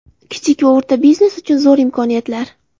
Kichik va o‘rta biznes uchun zo‘r imkoniyatlar .